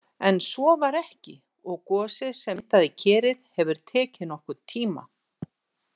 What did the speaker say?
En svo var ekki og gosið sem myndaði Kerið hefur tekið nokkurn tíma.